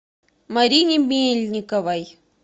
марине мельниковой